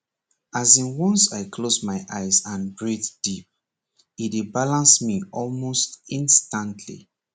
as in once i close my eyes and breathe deep e dey balance me almost instantly